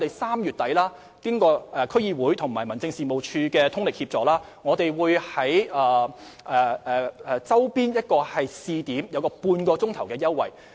此外，經過區議會和民政事務處的通力協助，我們3月底會在周邊試點提供半小時泊車優惠。